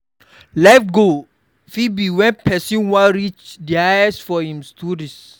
life goal fit be when person wan reach di highest for im studies